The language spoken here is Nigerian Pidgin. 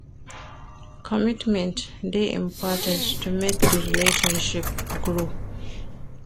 Commitment de important to make di relationship grow